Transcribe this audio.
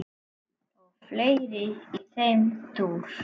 og fleira í þeim dúr.